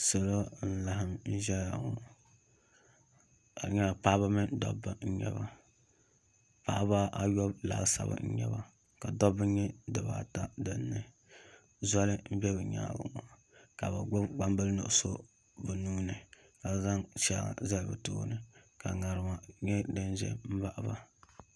Salo n laɣam ʒɛya ŋɔ ka di nyɛla paɣaba mini dabba n nyɛba paɣaba ayɔbu laasabu n nyɛba ka dabba nyɛ dibata dinni zoli n bɛ bi nyaangi ŋɔ ka bi gbubi gbambili nuɣso bi nuuni ka zaŋ shɛŋa zali bi tooni ka ŋarima nyɛ din ʒɛ